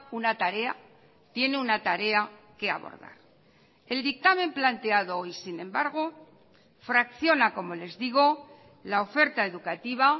una tarea tiene una tarea que abordar el dictamen planteado hoy sin embargo fracciona como les digo la oferta educativa